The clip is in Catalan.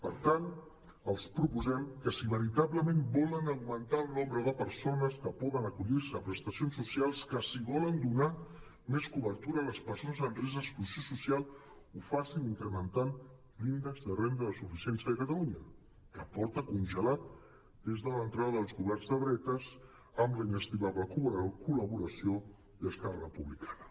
per tant els proposem que si veritablement volen augmentar el nombre de per·sones que poden acollir·se a prestacions socials que si volen donar més cobertura a les persones amb risc d’exclusió social ho facin incrementant l’índex de renda de suficiència de catalunya que porta congelat des de l’entrada dels governs de dretes amb la inestimable col·laboració d’esquerra republicana